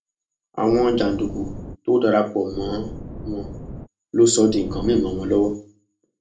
àwọn jàǹdùkú tó dara pọ mọ wọn ló sọ ọ di nǹkan mìín mọ wọn lọwọ